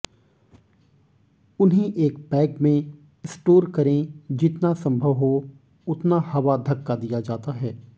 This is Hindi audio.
उन्हें एक बैग में स्टोर करें जितना संभव हो उतना हवा धक्का दिया जाता है